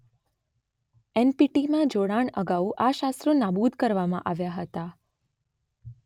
એન_Letter પી_Letter ટી_Letter માં જોડાણ અગાઉ આ શસ્ત્રો નાબૂદ કરવામાં આવ્યાં હતાં